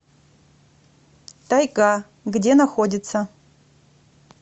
тайга где находится